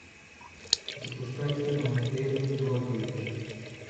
запускай кино эрин брокович